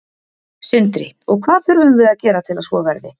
Sindri: Og hvað þurfum við að gera til að svo verði?